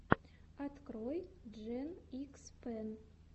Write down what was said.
открой джен икс пен